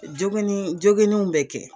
Joginni joginniw bɛ kɛ.